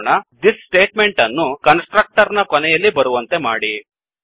thisದಿಸ್ statement ಅನ್ನು constructor ನ ಕೊನೆಯಲ್ಲಿ ಬರುವಂತೆ ಮಾಡಿ